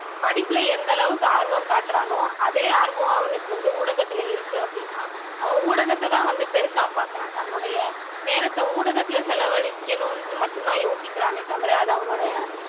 படிப்புல எந்த அளவுக்கு ஆர்வம் காட்டுறானோ அதே ஆர்வம் அவனுக்கு வந்து ஊடகத்துல இருக்கு அப்படினா அவன் ஊடகத்தைதான் வந்து பெருசா பார்க்கிறான் தன்னுடைய நேரத்தை ஊடகத்துல செலவளிக்கனும்னு மட்டும்தான் யோசிக்கிறானே தவிர அவனுடைய